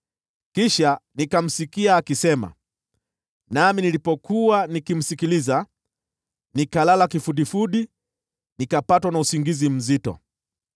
Kisha nikamsikia akisema, nami nilipokuwa nikimsikiliza, nikalala kifudifudi, nikapatwa na usingizi mzito.